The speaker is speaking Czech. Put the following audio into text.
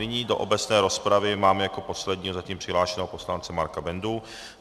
Nyní do obecné rozpravy mám jako posledního zatím přihlášeného poslance Marka Bendu.